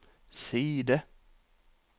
side